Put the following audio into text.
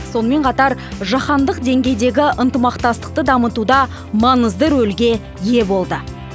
сонымен қатар жаһандық деңгейдегі ынтымақтастықты дамытуда маңызды рөлге ие болды